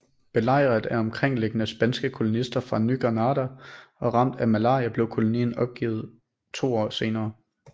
Belejret af omkringliggende spanske kolonister fra Ny Granada og ramt af malaria blev kolonien opgivet to år senere